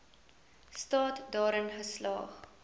staat daarin geslaag